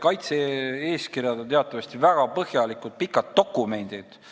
Kaitse-eeskirjad on teatavasti väga põhjalikud ja pikad dokumendid.